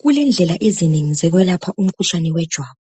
Kulendlela ezinengi zokwelapha umkhuhlane wejwabu,